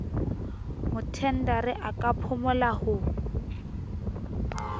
mothendari a ka phumola ho